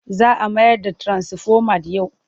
Za a mayar da tirasifomat yau.